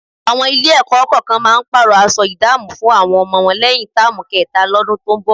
Àwọn Ilé-ẹ̀kọ́ kọ̀ọ̀kan máa pààrọ̀ aṣọ ìdámọ̀ fún àwọn ọmọ wọn lẹ́yìn táàmù kẹta lọ́dún tó ń bọ̀